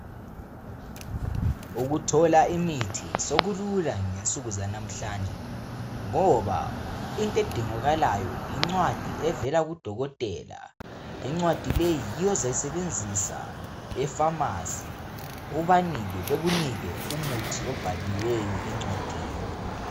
Ukuthola imithi sokulula ngensuku zalamuhlanje ngaba into edingakalayo yincwadi evela kudokotela. Incwadi leyi yiyo ozayisebenzisa efamasi, ubanike bekunike umuthi obhalilweyo encwadini.